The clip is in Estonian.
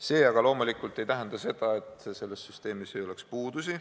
See aga loomulikult ei tähenda seda, et selles süsteemis ei oleks puudusi.